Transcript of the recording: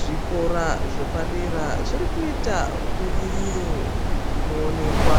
Zvikora zvepadera zvirikuita budiriro inoonekwa